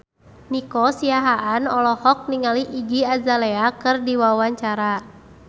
Nico Siahaan olohok ningali Iggy Azalea keur diwawancara